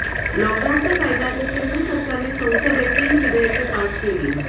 लॉकडाऊनचा फायदा घेत केंद्र सरकारने संसदेत तीन विधेयके पास केली